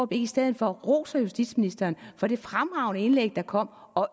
i stedet for roser justitsministeren for det fremragende indlæg der kom og